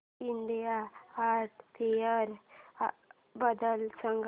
India art fair बद्दल सांग